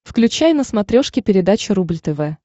включай на смотрешке передачу рубль тв